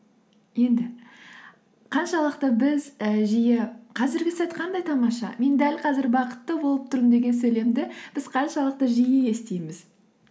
енді қаншалықты біз і жиі қазіргі сәт қандай тамаша мен дәл қазір бақытты болып тұрмын деген сөйлемді біз қаншалықты жиі естиміз